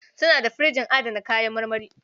Suna da firjin adana kayan marmari.